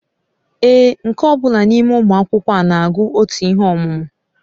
Ee, nke ọ bụla n'ime ụmụ akwụkwọ a na-agụ otu ihe ọmụmụ